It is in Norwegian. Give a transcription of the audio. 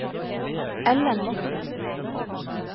Ellen Mortensen